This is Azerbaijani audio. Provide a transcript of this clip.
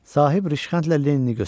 Sahib Rışxəndlə Lenini göstərdi.